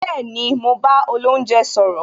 Bẹẹni, mo bá olounje sọ̀rọ̀